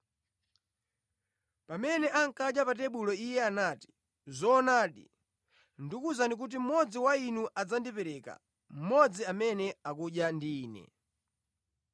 Pamene ankadya pa tebulo Iye anati, “Zoonadi, ndikuwuzani kuti mmodzi wa inu adzandipereka, mmodzi amene akudya ndi Ine.”